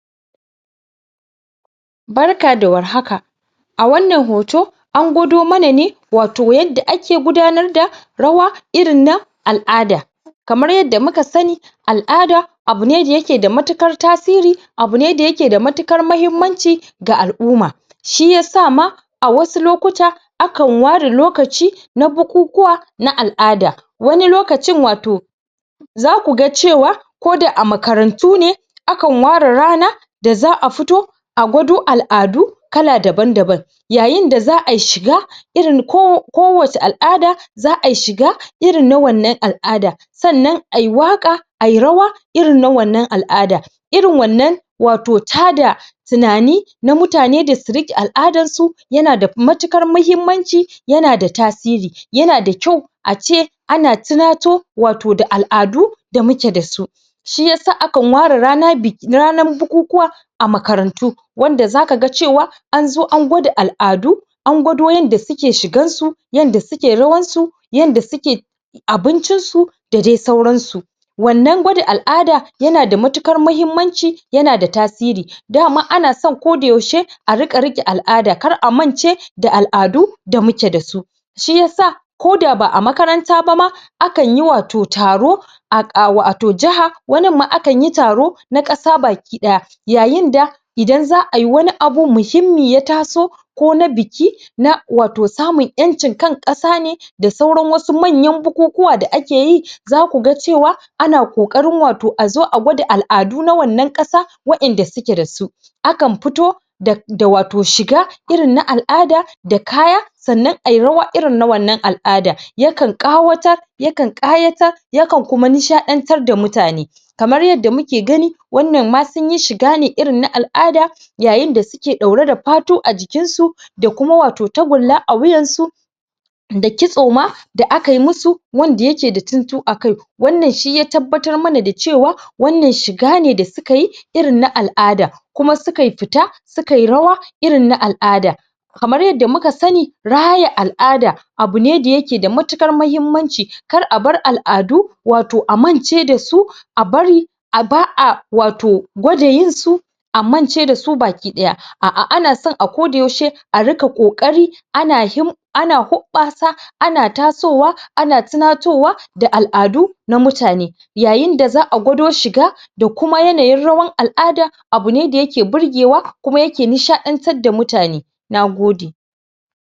Barka da warhaka a wannan hoton angwadomana ne wato yanda ake gudanar da rawa irin na alʼada kamar yanda muka sani alʼada abu ne da yakeda matuƙar tasiri abune da yakeda matuƙar mahimmanci ga alʼumma shiyasa ma a wasu lokuta akan ware lokaci na bukukuwa na alʼada wani lokacin wato zakuga cewa koda a makarantune akan ware rana da zaʼafito a gwado alʼadu kala daban daban yayinda zaʼa shiga irin kowace alʼada zaʼayi shiga irin na wannan alʼada sannan Ayi waka Ayi rawa irin na wannan alʼada irin wannan wato tado tunani na mutane da su rike alʼadansu yanada matuƙar mahimmanci yanada tasiri yanada kyau ace ana tunato wato da alʼadu da muke dasu Shiyasa akan ware ranan bukukuwa a makarantu wanda zakaga cewa anzo an gwada alʼadu an gwado yanda suke shigansu yanda suke rawan su yanda suke abincinsu da dai sauransu wannan gwada alʼada yanada matuƙar mahimmanci yanada tasiri Kuma anaso koda yaushe a dinga rike alʼada kar a mance alʼadu da mukeda su Shiyasa ko da ba a makaranta ba ma akanyi wato taro a wato jaha waninma akanyi taro na ƙasa bakidaya yayinda Idan zaʼayi Wani abu muhimmi ya taso ko na biki na wato samun yancin ƙasa ne da sauran wasu manyan bukukuwa da akeyi zakuga cewa ana kokarin wato azo a gwada wato alʼadu na wannan kasa wayanda sukeda su akan fito da wato shiga irin na alʼada da kaya sannan Ayi rawa irin na wannan alʼada yakan ƙawatar yakan ƙayatar yakan kuma nishaɗantar da mutane. kamar yanda muke gani wannan ma Sunyi shiga ne na alʼada yayinda suke ɗaure da fatu a jikinsu da Kuma wato tagulla a wuyansu da kitso ma da akayi musu wanda yakeda tuntu a kai wannan shi ya tabbatar mana da cewa wannan shigane da sukayi irin na alʼada Kuma suka fita sukayi rawa irin na alʼada kamar yanda muka sani raya alʼada abune da yakeda matuƙar mahimmanci kar a bar alʼadu wato a mance dasu a bari ba a wato gwada yinsu a mance dasu baki ɗaya aʼa anason akoda yaushe a rika ƙoƙari ana hobbasa ana hobbasa ana tasowa ana tunatowa da alʼadu na mutane yayinda zaʼa gwado shiga da Kuma yanayin rawar alʼada abune da yake burgewa yake nishaɗantar da mutane Na gode.